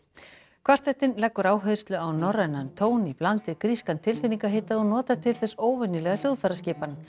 kvartettinn leggur áherslu á norrænan tón í bland við grískan tilfinningahita og notar til þess óvenjulega hljóðfæraskipan